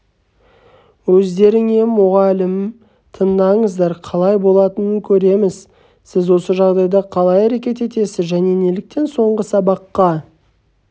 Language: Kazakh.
өздеріңе мұғалім таңдаңыздар қалай болатынын көреміз сіз осы жағдайда қалай әрекет етесіз және неліктен соңғы сабаққа